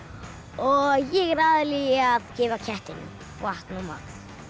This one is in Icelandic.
og ég er aðallega í því að gefa kettinum vatn og mat